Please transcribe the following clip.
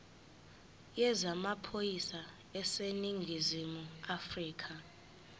yezamaphoyisa aseningizimu afrika